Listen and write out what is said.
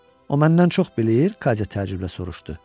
O məndən çox bilir, Katya təəccüblə soruşdu.